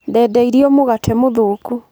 Ndenderio mũgate mũthũku.